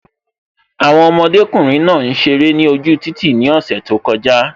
Àwọn ọmọdékùnrin náà ń ṣeré ni ojú títì ni ose tó kọjá